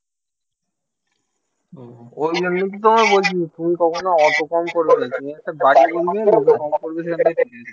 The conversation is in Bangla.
ওই জন্যই তো তোমায় বলছি তুমি কখনো অত কম করবেনা তুমি একটা বাড়িয়ে বলবে